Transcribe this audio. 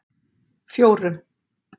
fjórum